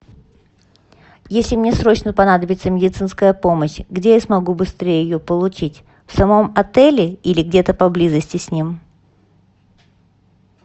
если мне срочно понадобится медицинская помощь где я смогу быстрее ее получить в самом отеле или где то поблизости с ним